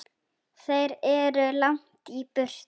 Þeir eru langt í burtu.